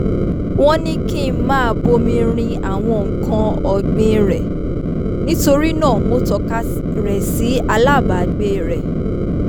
wọ́n ní kí n máa bomi rin àwọn nǹkan ọ̀gbìn rẹ̀ nítorí náà mo tọ́ka rẹ̀ sí alábàgbé rẹ̀